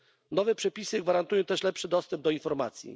Nowe przepisy gwarantują też lepszy dostęp do informacji.